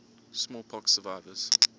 smallpox survivors